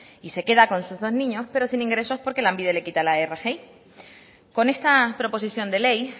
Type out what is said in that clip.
y se queda con sus dos niños pero sin ingresos porque lanbide le quita la rgi con esta proposición de ley